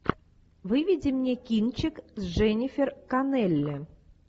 выведи мне кинчик с дженнифер коннелли